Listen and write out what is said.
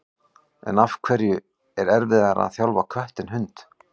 En af hverju er erfiðara að þjálfa kött en hund?